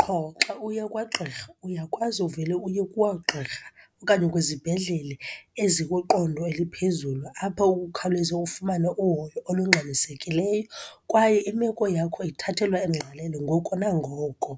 Qho xa uya kwagqirha, uyakwazi uvele uye kwagqirha okanye kwizibhedlele ezikwiqodo eliphezulu, apho ukhawuleze fumana uhoyo olungxamisekileyo, kwaye imeko yakho ithathelwa ingqalelo ngoko nangoko.